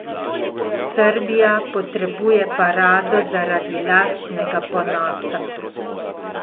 Srbija potrebuje parado zaradi lastnega ponosa.